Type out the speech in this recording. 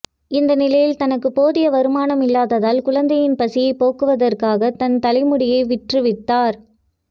இந்த நிலையில் தனக்கு போதிய வருமானம் இல்லாததால் குழந்தையின் பசியைப் போக்குவதற்காக தன் தலைமுடியை விற்றுவிட்டார்